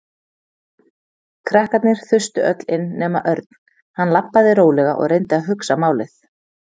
Krakkarnir þustu öll inn nema Örn. Hann labbaði rólega og reyndi að hugsa málið.